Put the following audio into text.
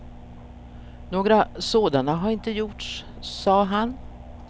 Några sådana hade inte gjorts, sade han.